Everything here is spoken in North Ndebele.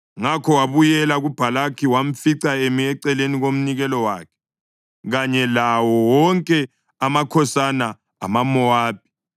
Ngakho wabuyela kuBhalaki wamfica emi eceleni komnikelo wakhe, kanye lawo wonke amakhosana amaMowabi.